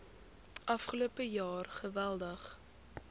afgelope jaar geweldig